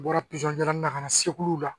U bɔra pizɔn jalanin na ka na segu la